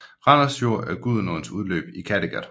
Randers Fjord er Gudenåens udløb i Kattegat